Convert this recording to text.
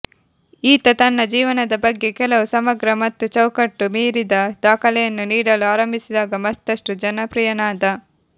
ಈತ ತನ್ನ ಜೀವನದ ಬಗ್ಗೆ ಕೆಲವು ಸಮಗ್ರ ಮತ್ತು ಚೌಕಟ್ಟು ಮೀರಿದ ದಾಖಲೆಯನ್ನು ನೀಡಲು ಆರಂಭಿಸಿದಾಗ ಮತ್ತಷ್ಟು ಜನಪ್ರಿಯನಾದ